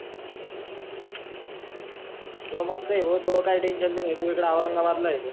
तुया मस्त आहे बावा तुला काही टेन्शन नाही तु इकडे ओरंगाबादला आहे त,